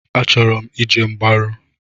Achọrọ m ije mgbaru.